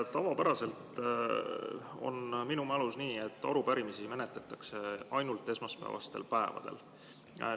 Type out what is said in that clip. Tavapäraselt, minu mälu järgi on nii, et arupärimisi menetletakse ainult esmaspäevastel päevadel.